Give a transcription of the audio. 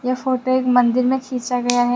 यह फोटो एक मन्दिर में खींचा गया है।